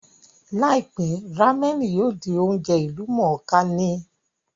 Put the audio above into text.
Láìpẹ́, rámẹ̀nì yóò di oúnjẹ ìlú mọ̀ọ́ kà ní